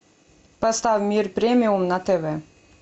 поставь мир премиум на тв